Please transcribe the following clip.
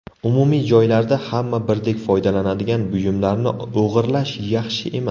Umumiy joylarda, hamma birdek foydalanadigan buyumlarni o‘g‘irlash yaxshi emas.